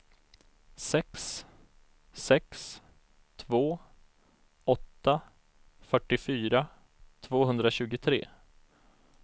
sex sex två åtta fyrtiofyra tvåhundratjugotre